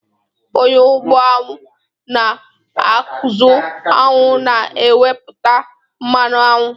Onye ugbo añwụ na-azụ añwụ na-ewepụta mmanụ añwụ.